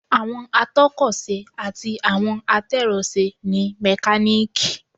Àwọn atọ́kọ̀ ṣe àti àwọn atẹ́rọṣe ni mẹkáníìkì